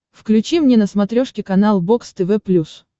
включи мне на смотрешке канал бокс тв плюс